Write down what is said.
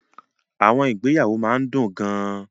Àwọn ìgbéyàwó máa ń dùn gan-an.